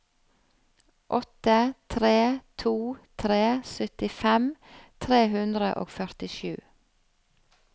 åtte tre to tre syttifem tre hundre og førtisju